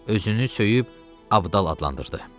Özünü söyüb abdal adlandırdı.